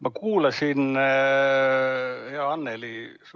Ma kuulasin, hea Anneli, su vastamist.